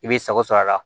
I b'i sago sɔrɔ a la